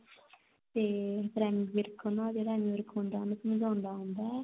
ਤੇ ਫਿਰ ਐਮੀ ਵਿਰਕ ਜਿਹੜਾ ਐਮੀ ਵਿਰਕ ਹੁੰਦਾ ਉਹਨੂੰ ਸਮਝਾਉਂਦਾ ਹੁੰਦਾ